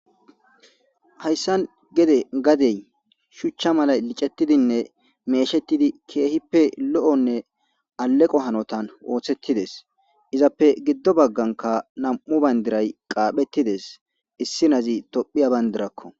Hayssan geede gaaden shuchcha malay miccetidinne meshshetidi kehippe lo'nne aleqqo hannotan ooosetides izappe giddo bagganka namm'u bandiray qaappetides izapoe issoy tophiya baabdrako